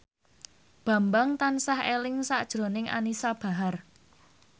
Bambang tansah eling sakjroning Anisa Bahar